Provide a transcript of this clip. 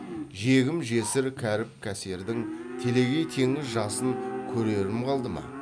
жегім жесір кәріп кәсердің телегей теңіз жасын көрерім қалды ма